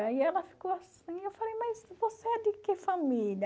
Aí ela ficou assim, eu falei, mas você é de que família?